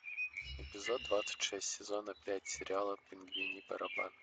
эпизод двадцать шесть сезона пять сериала пингвиний барабан